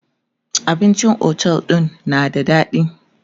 abincin otel ɗin na da daɗi